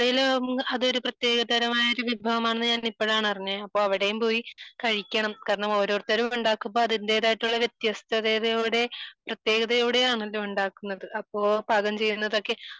ആലപ്പുഴയിൽ അത് ഒരു പ്രത്യേക വിഭവം ആണെന്ന് ഞാൻ ഇപ്പോഴാണ് അറിഞ്ഞത് അപ്പൊ അവിടെയും പോയി കഴിക്കണം കാരണം ഓരോരുത്തർ ഉണ്ടാക്കുമ്പോൾ അതിന്റേതായിട്ടുള്ള വ്യത്യസ്തതയോടെ പ്രത്യേകതയോടെ ആണ് ഉണ്ടാക്കുന്നത് . അപ്പോൾ പാകം ചെയ്യുന്നതൊക്കെ